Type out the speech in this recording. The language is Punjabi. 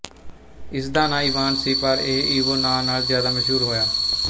ਇਸ ਦਾ ਨਾਂ ਇਵਾਨ ਸੀ ਪਰ ਇਹ ਈਵੋ ਨਾਂ ਨਾਲ ਜ਼ਿਆਦਾ ਮਸ਼ਹੂਰ ਹੋਇਆ